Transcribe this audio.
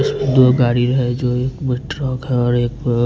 दो गाड़ी हैं जो एक मेट्रो का और एक--